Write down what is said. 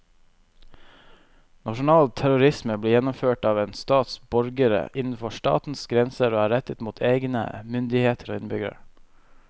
Nasjonal terrorisme blir gjennomført av en stats borgere innenfor statens grenser og er rettet mot egne myndigheter og innbyggere.